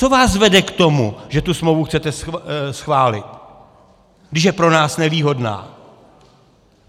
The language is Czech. Co vás vede k tomu, že tu smlouvu chcete schválit, když je pro nás nevýhodná?